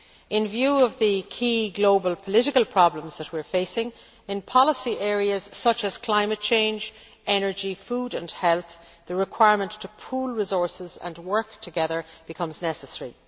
In view of the key global political problems that we are facing in policy areas such as climate change, energy, food and health, the requirement to pool resources and work together becomes necessary.